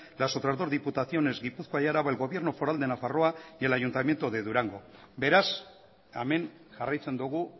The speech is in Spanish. las otras dos diputaciones gipuzkoa y araba el gobierno foral de nafarroa y el ayuntamiento de durango beraz hemen jarraitzen dugu